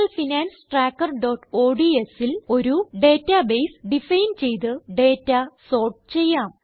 Personal Finance Trackerodsൽ ഒരു database define ചെയ്ത് ഡേറ്റ സോർട്ട് ചെയ്യാം